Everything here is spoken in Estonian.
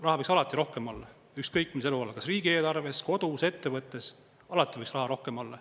Raha võiks alati rohkem olla, ükskõik mis eluvaldkonnas, kas riigieelarves, kodus või ettevõttes, alati võiks raha rohkem olla.